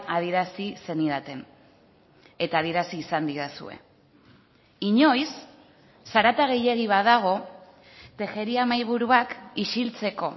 adierazi zenidaten eta adierazi izan didazue inoiz zarata gehiegi badago tejeria mahaiburuak isiltzeko